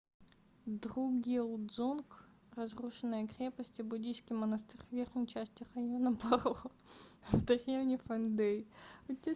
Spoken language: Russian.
другьел-дзонг — разрушенная крепость и буддийский монастырь в верхней части района паро в деревне фондей